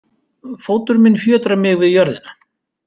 Fótur minn fjötrar mig við jörðina.